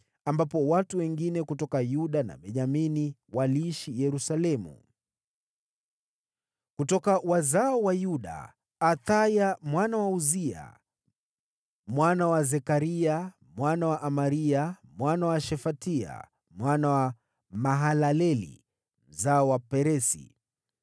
ambapo watu wengine kutoka Yuda na Benyamini waliishi Yerusalemu). Kutoka wazao wa Yuda: Athaya mwana wa Uzia, mwana wa Zekaria, mwana wa Amaria, mwana wa Shefatia, mwana wa Mahalaleli, mzao wa Peresi.